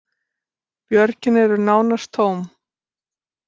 Björgin eru nánast tóm